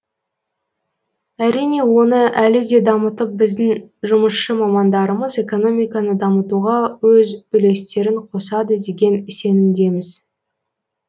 әрине оны әлі де дамытып біздің жұмысшы мамандарымыз экономиканы дамытуға өз үлестерін қосады деген сенімдеміз